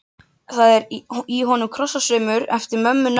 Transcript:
Það er í honum krosssaumur eftir mömmu nöfnu.